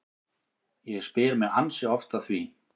Ég spyr mig ansi oft að því